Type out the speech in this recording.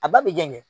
A ba bi jɛgɛn